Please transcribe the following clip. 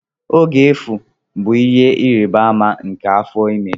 Oge efu bụ ihe ịrịba ama nke afọ ime.